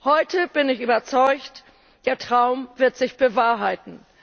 Heute bin ich überzeugt Der Traum wird sich bewahrheiten.